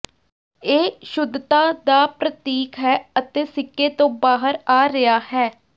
ਇਹ ਸ਼ੁੱਧਤਾ ਦਾ ਪ੍ਰਤੀਕ ਹੈ ਅਤੇ ਸਿੱਕੇ ਤੋਂ ਬਾਹਰ ਆ ਰਿਹਾ ਹੈ